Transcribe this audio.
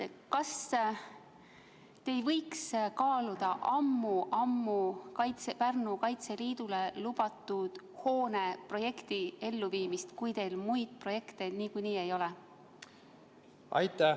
Kas te ei võiks kaaluda ammu-ammu Pärnu Kaitseliidule lubatud hoone projekti elluviimist, kui teil muid projekte niikuinii ei ole?